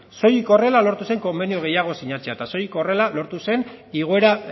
soilik horrela lortu zen konbenio gehiago sinatzea eta soilik horrela lortu zen igoera